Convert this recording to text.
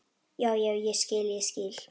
Já, já, ég skil, ég skil.